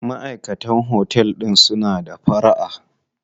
Maʼaikatan otel din suna da fara'a.